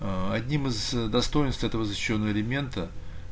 одним из достоинств этого защищённого элемента